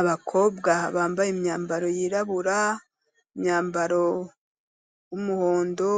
Abakobwa bambaye imyambaro yirabura, imyambaro w'umuhondo,